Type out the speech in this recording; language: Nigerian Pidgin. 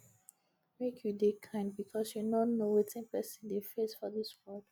make you dey kind because you no know wetin person dey face for dis world